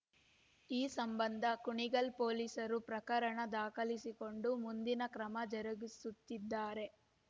ಈ ಸಂಬಂಧ ಕುಣಿಗಲ್ ಪೊಲೀಸರು ಪ್ರಕರಣ ದಾಖಲಿಸಿಕೊಂಡು ಮುಂದಿನ ಕ್ರಮ ಜರುಗಿಸುತ್ತಿದ್ದಾರೆ